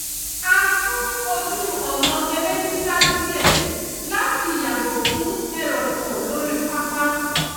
a sún ojú ọ̀nà eré sísá díẹ̀ láti yàgò fún ẹrọ̀fọ̀ lórí pápá